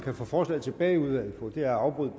at få forslaget tilbage i udvalget på er ved at afbryde